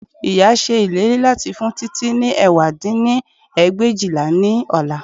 Ìyá ṣe ìlérí láti fún Títí ní ẹ̀wá dín ní ẹgbẹ̀éjìlá ní ọ̀la